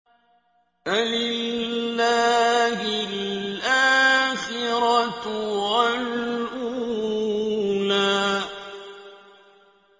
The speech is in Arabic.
فَلِلَّهِ الْآخِرَةُ وَالْأُولَىٰ